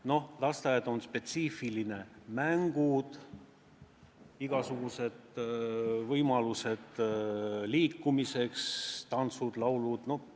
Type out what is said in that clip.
Noh, lasteaed on spetsiifiline: mängud, igasugused võimalused liikumiseks, tantsud, laulud.